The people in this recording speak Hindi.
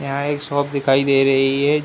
यहाँ एक शॉप दिखाई दे रही है।